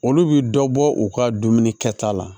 Olu bi dɔ bɔ u ka dumuni kɛta la